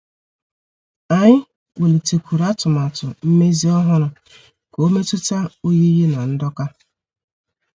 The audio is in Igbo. Anyị welitekwuru atụmatụ mmezi ọhụrụ ka ọ metuta oyiyi na ndoka.